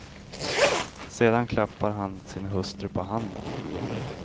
Sedan klappar han sin hustru på handen.